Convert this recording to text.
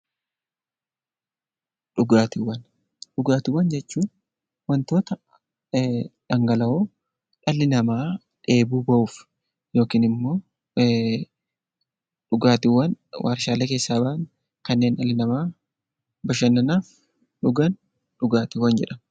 Dhugaatiiwwan jechuun wantoota dhangala'aa dhalli namaa dheebuu bahuuf yookiin immoo dhugaatiiwwan warshaalee keessaa bahan kanneen dhalli namaa bashannanaaf dhugan dhugaatiiwwan jedhama